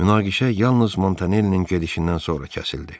Münaqişə yalnız Montanellinin gedişindən sonra kəsildi.